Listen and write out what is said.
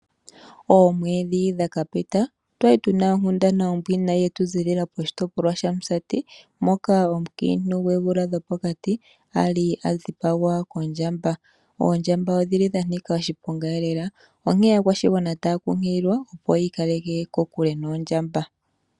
Oomwedhi dhaka pita otwali tuna onkundana ombwiinayi yetu ziilila poshitopolwa shaMusati, moka omukiinti gwoomvula dho pokati ali adhipagwa kondjamba. Oondjamba odhili dha nika oshiponga lela, onkene aakwashigwana otaya kunkililwa opi yi ikaleke kokule noondjamba.